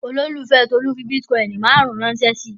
Olólùfẹ́ Tolú fi bítíkọ́ìn márùn-ún ránṣẹ́ sí i.